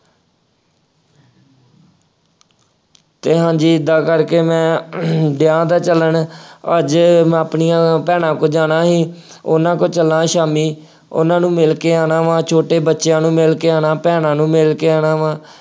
ਅਤੇ ਹਾਂਜੀ ਏਦਾਂ ਕਰਕੇ ਮੈਂ ਡਿਆਂ ਦਾ ਚੱਲਣ, ਅੱਜ ਮੈਂ ਆਪਣੀਆਂ ਭੈਣਾਂ ਕੋਲ ਜਾਣਾ ਸੀ। ਉਹਨਾ ਕੋਲ ਚੱਲਾਂ ਸ਼ਾਮੀ। ਉਹਨਾ ਨੂੰ ਮਿਲਕੇ ਆਉਣਾ ਵਾ, ਛੋਟੇ ਬੱਚਿਆਂ ਨੂੰ ਮਿਲਕੇ ਆਉਣਾ, ਭੈਣਾਂ ਨੂੰ ਮਿਲਕੇ ਆਉਣਾ ਵਾ।